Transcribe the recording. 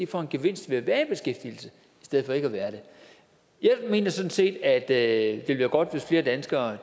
får en gevinst ved at være i stedet for ikke at være det jeg mener sådan set at det ville være godt hvis flere danskere